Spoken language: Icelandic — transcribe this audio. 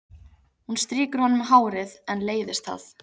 Hún strýkur honum um hárið en leiðist það.